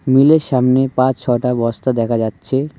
মিলের সামনে পাঁচ ছটা বস্তা দেখা যাচ্ছে।